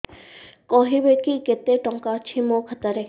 କହିବେକି କେତେ ଟଙ୍କା ଅଛି ମୋ ଖାତା ରେ